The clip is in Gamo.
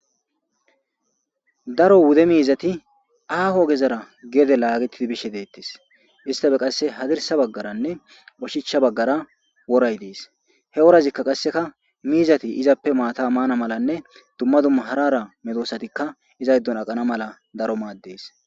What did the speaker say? Daro wude miizati aaho gezara geede laagettidi bishe deettes istafe qasse hadirsa baggaranne oshicha baggara woray dees he worazikka qasseka miizati izappe maata maana malanne dumma dumma harara medoosatikka izayddun aqana mala daro maaddees.